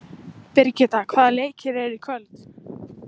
Birgitta, hvaða leikir eru í kvöld?